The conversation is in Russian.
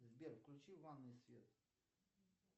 сбер включи в ванной свет